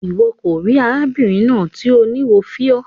Iwọ ko ri arábìnrin náà ti o ni wo fiọ.